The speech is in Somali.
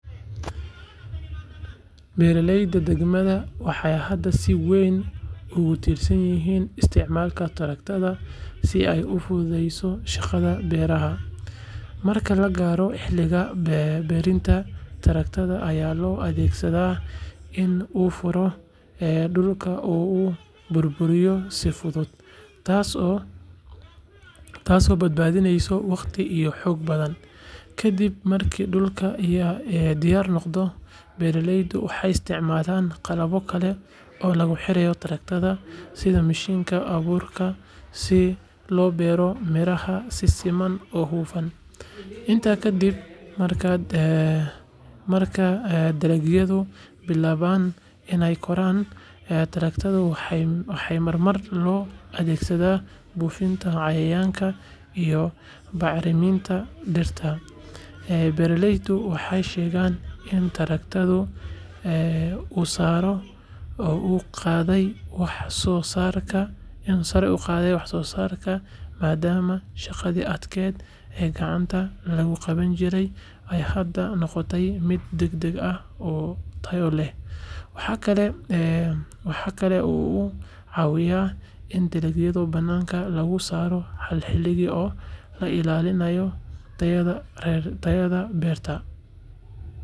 Beeralayda deegaanka waxay hadda si weyn ugu tiirsan yihiin isticmaalka taraktarada si ay u fududeeyaan shaqada beeraha. Marka la gaaro xilliga beertidda, taraktarka ayaa loo adeegsadaa in uu furo dhulka oo uu burburiyo si fudud, taasoo badbaadisa waqti iyo xoog badan. Ka dib marka dhulku diyaar noqdo, beeraleydu waxay isticmaalaan qalabyo kale oo lagu xiro taraktarka sida mashiinnada abuurka si loo beero miraha si siman oo hufan. Intaa ka dib, marka dalagyadu bilaabaan inay koraan, taraktarada waxaa mar kale loo adeegsadaa buufinta cayayaanka iyo bacriminta dhirta. Beeraleydu waxay sheegeen in taraktarku uu sare u qaaday wax-soo-saarka maadaama shaqadii adkayd ee gacanta lagu qaban jiray ay hadda noqotay mid degdeg ah oo tayo leh. Waxa kale oo uu ka caawiyay in dalagyo badan lagu beero hal xilli oo la ilaaliyo tayada beerta.